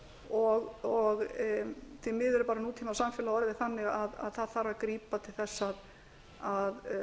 og því miður er bara nútímasamfélag orðið þannig að grípa þarf til þess að